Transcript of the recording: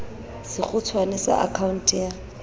sekgutshwane sa akha onte ya